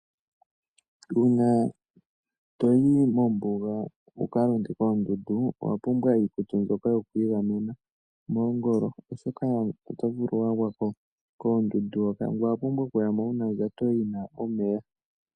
Uuna to yi mombuga wu ka londe koondundu owa pumbwa iikutu mbyoka yo ku igamena moongolo, oshoka oto vulu okukala wa gwa ko koondundu hoka. Ngoye owa pumbwa okuya mo wu na ondjato yi na omeya.